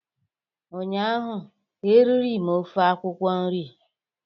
ụnyaahụ eriri m ofe akwụkwọ nri